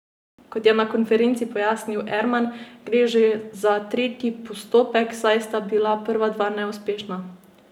Kot je na konferenci pojasnil Erman, gre za že tretji postopek, saj sta bila prva dva neuspešna.